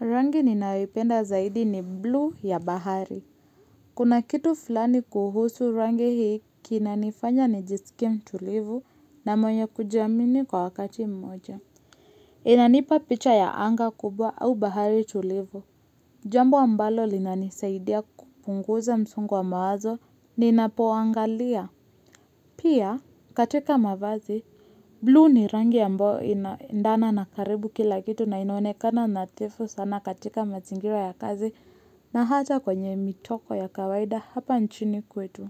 Rangi ninayoipenda zaidi ni blue ya bahari. Kuna kitu fulani kuhusu rangi hii kinanifanya nijiskie mtulivu na mwenye kujiamini kwa wakati mmoja. Inanipa picha ya anga kubwa au bahari tulivu. Jambo ambalo linanisaidia kupunguza msongo wa mawazo ninapoangalia. Pia, katika mavazi, blue ni rangi ambao inaendana na karibu kila kitu na inaonekana na tefu sana katika mazingira ya kazi na hata kwenye mitoko ya kawaida hapa nchini kwetu.